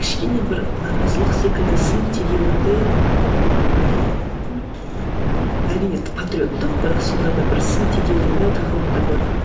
кішкене бір наразылық секілді сын тегеуірінді ііі әрине патриоттық бірақ сонда да бір сын тегеуірінді тақырыптар бар